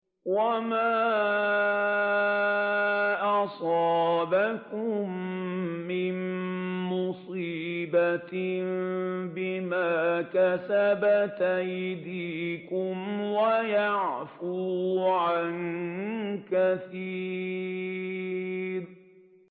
وَمَا أَصَابَكُم مِّن مُّصِيبَةٍ فَبِمَا كَسَبَتْ أَيْدِيكُمْ وَيَعْفُو عَن كَثِيرٍ